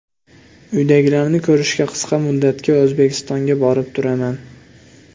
Uydagilarni ko‘rishga qisqa muddatga O‘zbekistonga borib turaman.